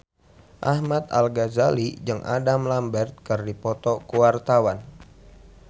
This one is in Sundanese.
Ahmad Al-Ghazali jeung Adam Lambert keur dipoto ku wartawan